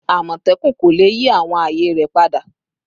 Amotekun ko le yi awọn aaye rẹ pada